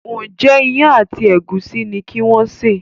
Njé Iyán àti egusi ní kí wón ṣe?